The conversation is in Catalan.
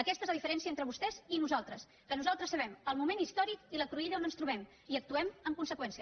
aquesta és la diferència entre vostès i nosaltres que nosaltres sabem el moment històric i la cruïlla on ens trobem i actuem en conseqüència